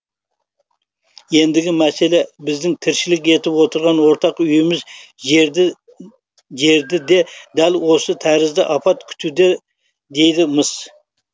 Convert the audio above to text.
ендігі мәселе біздің тіршілік етіп отырған ортақ үйіміз жерді де дәл осы тәрізді апат күтуде дейді мыс